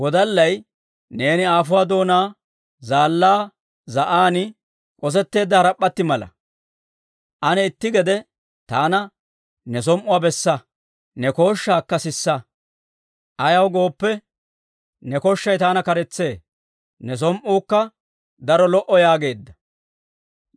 Neeni aafuwaa doonaa zaallaa za'an k'osetteedda harap'p'atti mala; ane itti gede taana ne som"uwaa bessa; ne kooshshaakka sisa. Ayaw gooppe, ne kooshshay taana k'aretsee; ne som"uukka daro lo"ee yaageedda.